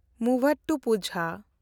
ᱢᱩᱣᱟᱛᱩᱯᱩᱡᱟ